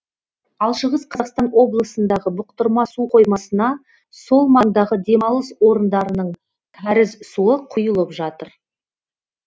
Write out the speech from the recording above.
ал шығыс қазақстан облысындағы бұқтырма су қоймасына сол маңдағы демалыс орындарының кәріз суы құйылып жатыр